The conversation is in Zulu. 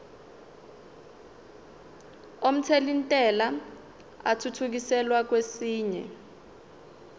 omthelintela athuthukiselwa kwesinye